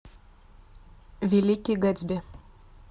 великий гэтсби